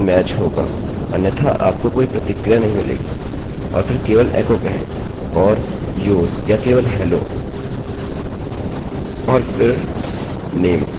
फिर केवल एको कहें और your या केवल hello और फिर name